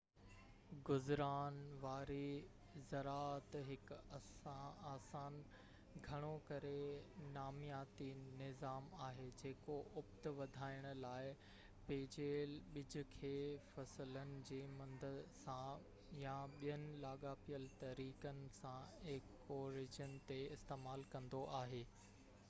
گذران واري زراعت هڪ آسان گهڻو ڪري نامياتي نظام آهي جيڪو اُپت وڌائڻ لاءِ بچيل ٻج کي فصلن جي مند سان يا ٻين لاڳاپيل طريقن سان ايڪو ريجن تي استعمال ڪندو آهي